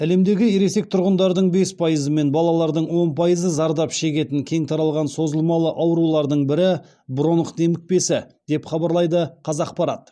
әлемдегі ересек тұрғындардың бес пайызы мен балалардың он пайызы зардап шегетін кең таралған созылмалы аурулардың бірі бронх демікпесі деп хабарлайды қазақпарат